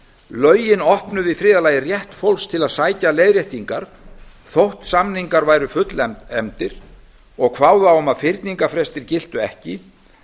lögin opnuðu í þriðja lagi rétt fólks til að sækja leiðréttingar þótt samningar væru fullefndir og kváðu á um að fyrningarfrestir giltu ekki